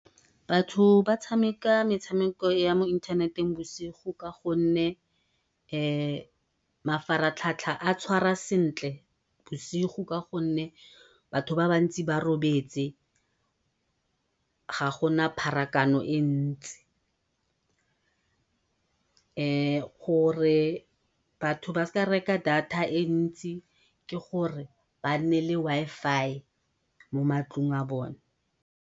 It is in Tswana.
Batho ba tshameka metshameko ya mo ithaneteng bosigo ka gonne mafaratlhatlha a tshwara sentle bosigo ka gonne batho ba bantsi ba robetse, ga gona pharakano e ntsi. gore batho ba sa reka data e ntsi ke gore ba nne le Wi-Fi mo matlong a bone.